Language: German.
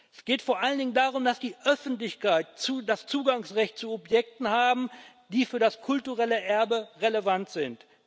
Es geht vor allen Dingen darum, dass die Öffentlichkeit das Zugangsrecht zu Objekten hat, die für das kulturelle Erbe relevant sind.